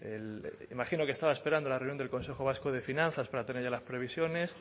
el me imagino que estaba esperando la reunión del consejo vasco de finanzas para tener ya las previsiones